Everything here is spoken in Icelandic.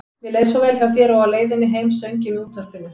Mér leið svo vel hjá þér og á leiðinni heim söng ég með útvarpinu.